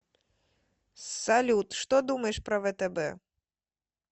салют что думаешь про втб